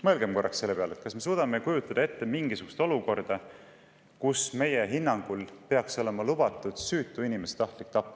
Mõelgem korraks selle peale, kas me suudame ette kujutada mingisugust olukorda, kus süütu inimese tahtlik tapmine võiks meie hinnangul olla lubatud.